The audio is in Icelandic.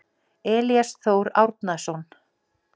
Elías Þór Árnason.